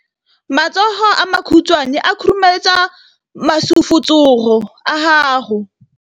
Matsogo a makhutshwane a khurumetsa masufutsogo a gago.